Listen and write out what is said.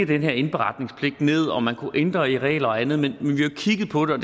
den her indberetningspligt ned om man kunne ændre regler og andet men vi har kigget på det